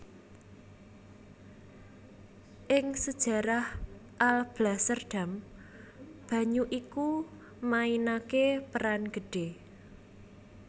Ing sejarah Alblasserdam banyu iku mainaké peran gedhé